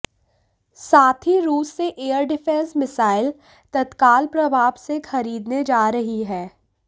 साथ ही रूस से एयर डिफेंस मिसाइल तत्काल प्रभाव से खरीदने जा रही है